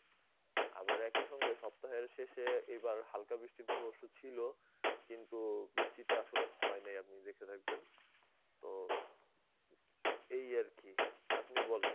আবার একই সঙ্গে সপ্তাহের শেষে এবার হালকা বৃষ্টির পূর্বাভাস ছিল. কিন্তু বৃষ্টিটা আসলে হয় নাই আপনি দেখে থাকবেন. তো এই আর কি. আপনি বলেন.